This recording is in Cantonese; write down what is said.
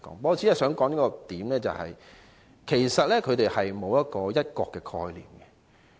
我只想指出一點，就是他們沒有"一國"的概念。